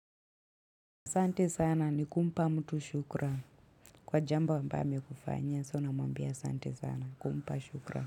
Sante sana ni kumpa mtu shukran. Kwa jambo amba ambiyo amekufanyia, sa unamwambia asante sana. Kumpa shukran.